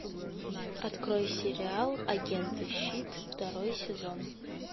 открой сериал агенты щит второй сезон